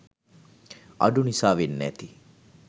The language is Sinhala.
අඩු නිසා වෙන්න ඇති